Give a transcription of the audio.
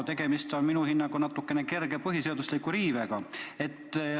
Tegemist on minu hinnangul kerge põhiseaduse riivega.